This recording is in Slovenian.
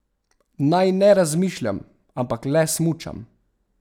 Naj ne razmišljam, ampak le smučam.